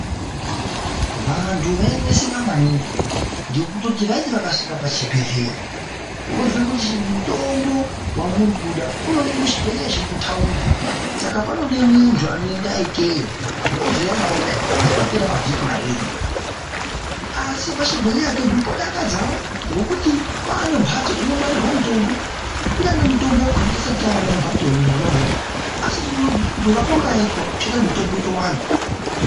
Vantu vaineseka maningi ngekutoti vaiti vakasvika pachibhedhleya vozwe kuti mutombo wamurikuda unoonekwa kuchibhehlera chiri kutaundi Saka ponode muntu unoendayo ikeyo zouya nawo dai kwapera mavhiki mairi. Asi pachibhedhleya pedu podakadzawo ngekuti pane mhatso inongwarirwa mitombo kunyangwe mitombo yakhona isati yawanda mumhatso mwona imwomwo asi kutovakwa kwayaitwa kuchaita kuti mitombo itowanda.